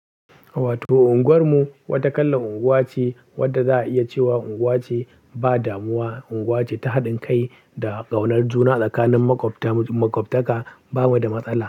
To, unguwarmu wata kalan unguwa ce wadda za a iya cewa unguwa ce ba damuwa, unguwa ce ta haɗin kai da ƙaunar juna tsakanin maƙwabtaka. Ba mu da matsala.